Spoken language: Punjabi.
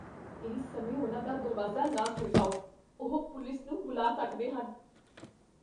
ਇਸ ਸਮੇਂ ਉਨ੍ਹਾਂ ਦਾ ਦਰਵਾਜ਼ਾ ਨਾ ਖੜਕਾਓ। ਉਹ ਪੁਲਿਸ ਨੂੰ ਬੁਲਾ ਸਕਦੇ ਹਨ।